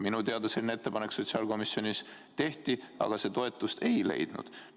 Minu teada selline ettepanek sotsiaalkomisjonis tehti, aga see toetust ei leidnud.